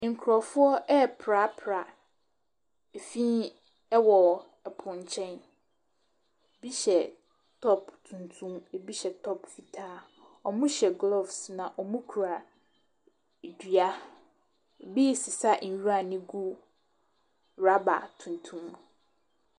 Nkurɔfoɔ ɛreprapra fii wɔ po nkyɛn, bi hyɛ top tuntum, bi hyɛ top fitaa. Wɔhyɛ gloves na wɔkura dua, bi resesa nwura no gu rubber tuntum mu.